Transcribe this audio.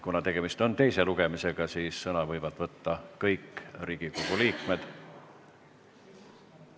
Kuna tegemist on teise lugemisega, siis võivad sõna võtta kõik Riigikogu liikmed.